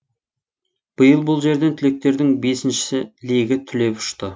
биыл бұл жерден түлектердің бесіншісі легі түлеп ұшты